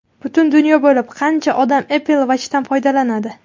Butun dunyo bo‘ylab qancha odam Apple Watch’dan foydalanadi?